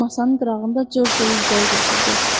Masanın qırağında Corcu ilə üzbəüz oturdu.